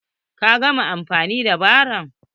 Ka gama anfani da barron?